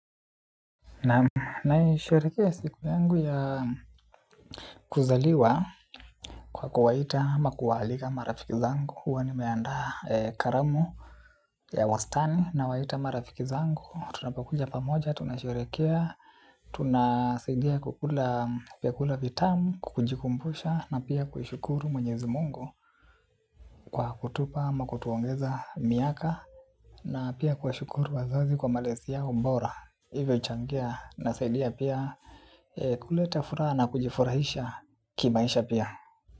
Nam naisherehekea siku yangu ya kuzaliwa kwa kuwaita ama kuwaalika marafiki zangu. Huwa nimeandaa karamu ya wastani nawaita marafiki zangu. Tunapokuja pamoja, tunasherehekea, tunasaidia kukula vyakula vitamu, kukujikumbusha na pia kushukuru mwenyezi mungu kwa kutupa ama kutuongeza miaka. Na pia kuwashukuru wazazi kwa malezi yao bora ilivyochangia nasaidia pia kuleta furaha na kujifurahisha kimaisha pia.